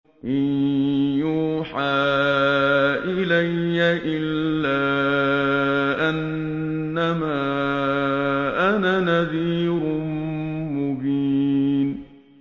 إِن يُوحَىٰ إِلَيَّ إِلَّا أَنَّمَا أَنَا نَذِيرٌ مُّبِينٌ